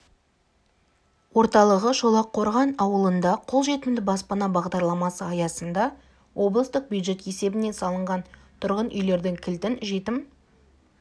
орталығы шолаққорған ауылында қолжетімді баспана бағдарламасы аясында облыстық бюджет есебінен салынған тұрғын үйлердің кілтін жетім